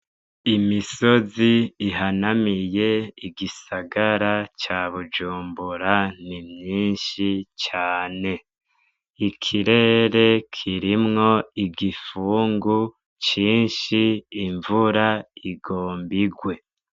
Imisozi ihanamiye igisagara ca Bujumbura ni myinshi cane. Ikirere kirimwo igifungu cinshi, imvura igomba igwe.